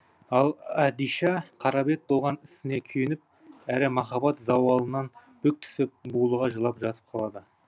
ал әдиша қарабет болған ісіне күйініп әрімахаббат зауалынан бүк түсіп булыға жылап жатып қалады